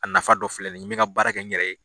A nafa dɔ filɛ nin ye, n mɛ n ka baara kɛ n yɛrɛ ye